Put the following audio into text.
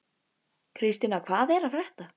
Kristína, hvað er að frétta?